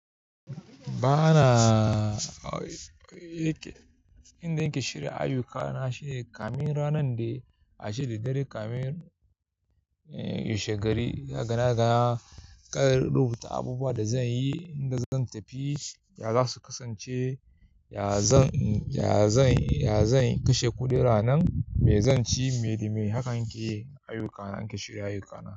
Ba na, yanda nake shirya ayyukana shine kamin ranar da, ace da daddare kamin wa she gari, daga na gaba kar rubuta abubuwan da zan yi, inda zan tafi, ya za su kasance, ya zan, ya zan, ya zan kashe kuɗi ranan, me zan ci, me da me. Hakan nike ayyukana, nike shirya ayyukana.